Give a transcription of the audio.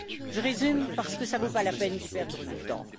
Je résume parce que ça ne vaut pas la peine d'y perdre du temps.